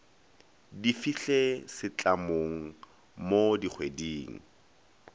di fihle setlamong mo dikgweding